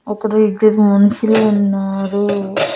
అక్కడ ఇద్దరు మనుషులు ఉన్నారు.